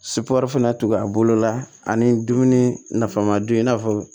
fana tugu a bolo la ani dumuni nafama dun i n'a fɔ